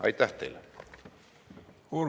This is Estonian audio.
Aitäh teile!